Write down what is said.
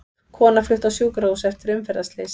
Kona flutt á sjúkrahús eftir umferðarslys